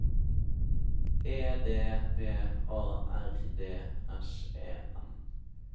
E D V A R D S E N